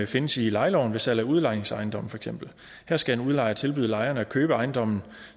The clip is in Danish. findes i lejeloven ved salg af udlejningsejendomme her skal en udlejer tilbyde lejerne at købe ejendommen